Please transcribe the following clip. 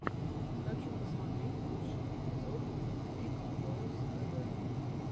хочу посмотреть лучший эпизод биг доус тэ вэ